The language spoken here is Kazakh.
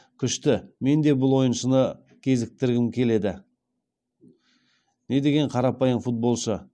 күшті мен де бұл ойыншыны кезіктіргім келеді недеген қарапайым футболшы